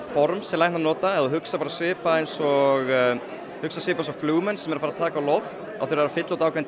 form sem læknar nota svipað eins og flugmenn sem eru að taka á loft þurfa að fylla út ákveðinn